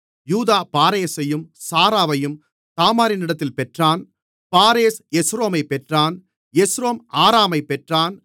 யூதா பாரேசையும் சாராவையும் தாமாரினிடத்தில் பெற்றான் பாரேஸ் எஸ்ரோமைப் பெற்றான் எஸ்ரோம் ஆராமைப் பெற்றான்